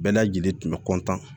Bɛɛ lajɛlen tun bɛ